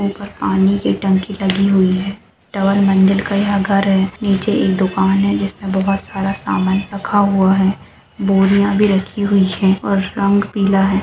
के ऊपर पानी की टंकी लगी हुई है ट्वेल मंजिल का यह घर है नीचे एक दुकान है जिसमें बोहत सारा सामान रखा हुआ है बोरिया भी रखी हुई है और रंग पीला है।